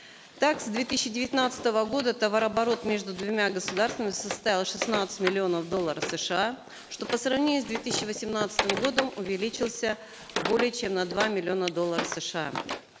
так с две тысячи девятнадцатого года товарооборот между двумя государствами составил шестнадцать миллионов долларов сша что по сравнению с две тысячи восемнадцатым годом увеличилось более чем на два миллиона долларов сша